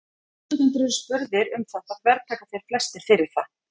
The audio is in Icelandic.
ef þátttakendur eru spurðir um þetta þvertaka þeir flestir fyrir það